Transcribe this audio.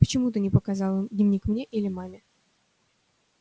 почему ты не показала дневник мне или маме